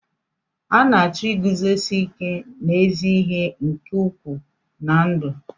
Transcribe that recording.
A na-achọ iguzosi ike n'ezi ihe nke ukwuu na ndụ.